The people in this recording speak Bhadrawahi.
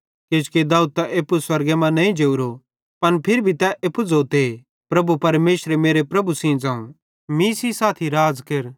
किजोकि दाऊद त एप्पू स्वर्गे मां नईं जोरो पन फिर भी तै एप्पू ज़ोते प्रभु परमेशरे मेरे प्रभु सेइं ज़ोवं मीं सेइं साथी राज़ केर